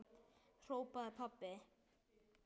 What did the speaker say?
hrópaði pabbi.